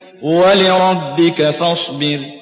وَلِرَبِّكَ فَاصْبِرْ